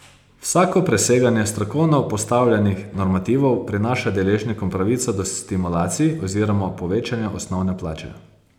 Vsako preseganje strokovno postavljenih normativov prinaša deležnikom pravico do stimulacij oziroma povečanja osnovne plače.